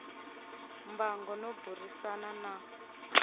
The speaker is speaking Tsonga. mbango no burisana na n